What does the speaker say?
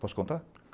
Posso contar?